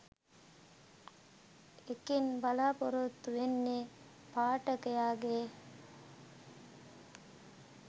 ඒකෙන් බලාපොරොත්තු වෙන්නෙ පාඨකයගෙ